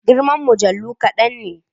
Girman mujallu kadan ne.